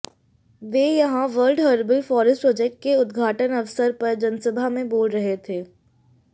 वे यहां world herbal forest project के उद्घाटन अवसर पर जनसभा में बोल रहे थे